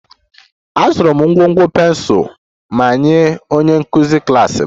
Azụrụ m ngwugwu pensụl ma nye onye nkụzi klas m